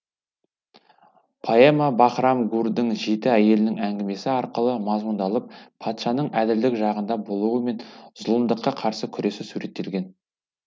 поэма баһрам гурдің жеті әйелінің әңгімесі арқылы мазмұндалып патшаның әділдік жағында болуы мен зұлымдыққа қарсы күресі суреттелген